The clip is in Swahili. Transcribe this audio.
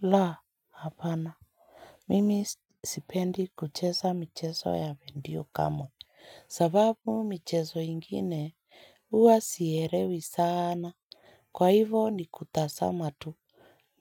La, hapana. Mimi sipendi kucheza michezo ya mwendo wa kamo. Sababu michezo ingine huwa sielewi sana. Kwa hivyo nikutazama tu